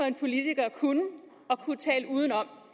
en politiker at kunne at tale udenom